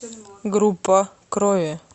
группа крови